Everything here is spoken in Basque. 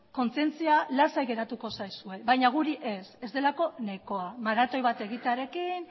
kontzientzia lasai geratuko zaizue baina guri ez ez delako nahikoa maratoi bat egitearekin